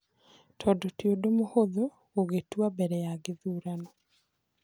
Tondũ ti ũndũ mũhũthũ gũgĩtua mbere ya gĩthurano.